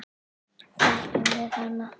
Þekkjum við hana?